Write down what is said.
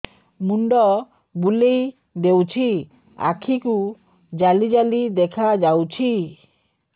ମୁଣ୍ଡ ବୁଲେଇ ଦେଉଛି ଆଖି କୁ ଜାଲି ଜାଲି ଦେଖା ଯାଉଛି